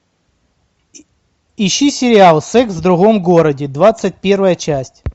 ищи сериал секс в другом городе двадцать первая часть